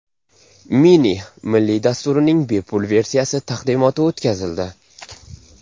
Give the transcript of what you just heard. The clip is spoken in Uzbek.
Mini” milliy dasturining bepul versiyasi taqdimoti o‘tkazildi.